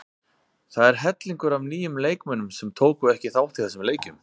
Það er hellingur af nýjum leikmönnum sem tóku ekki þátt í þessum leikjum.